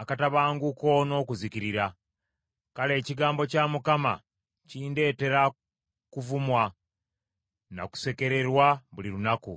akatabanguko n’okuzikirira. Kale ekigambo kya Mukama kindeetera kuvumwa na kusekererwa buli lunaku.